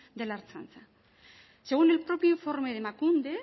de la ertzaintza según el propio informe de emakunde